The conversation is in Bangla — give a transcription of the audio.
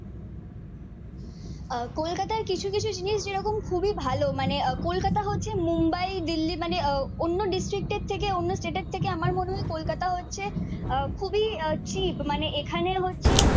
আহ কলকাতায় কিছু কিছু জিনিস যেরকম খুবই ভালো মানে কলকাতা হচ্ছে মুম্বাই দিল্লি মানে অন্য ডিস্ট্রিক্টের থেকে অন্য স্টেটের থেকে আমার মনে হয় কলকাতা হচ্ছে আহ খুবই আহ চিপ। মানে এখানে হচ্ছে